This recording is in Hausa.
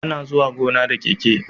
Ana zuwa gona da keke